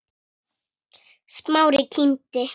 Smári kímdi.